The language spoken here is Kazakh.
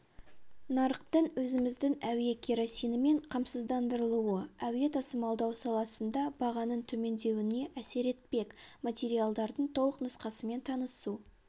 нарықтың өзіміздің әуе керосинімен қамсыздандырылуы әуе тасымалдау саласында бағаның төмендеуіне әсер етпек материалдардың толық нұсқасымен танысу